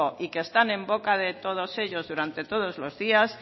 y que están en boca de todos ellos durante todos los días